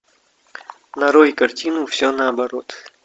нарой картину все наоборот